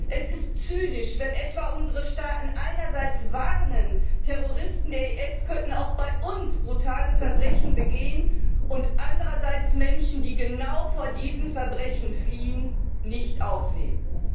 Es ist zynisch, wenn etwa unsere Staaten einerseits warnen, Terroristen des IS könnten auch bei uns brutale Verbrechen begehen, und andererseits Menschen, die genau vor diesen Verbrechen fliehen, nicht aufnehmen.